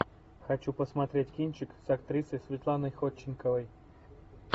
хочу посмотреть кинчик с актрисой светланой ходченковой